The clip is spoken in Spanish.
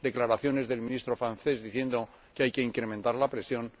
declaraciones del Ministro francés, diciendo que hay que incrementar la presión.